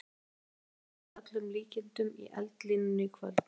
Aðrir Íslendingar verða að öllum líkindum í eldlínunni í kvöld.